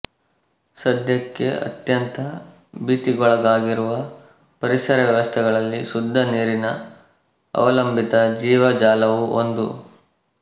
ಸದ್ಯಕ್ಕೆ ಅತ್ಯಂತ ಭೀತಿಗೊಳಗಾಗಿರುವ ಪರಿಸರ ವ್ಯವಸ್ಥೆಗಳಲ್ಲಿ ಶುದ್ಧ ನೀರಿನ ಅವಲಂಬಿತ ಜೀವಜಾಲವೂ ಒಂದು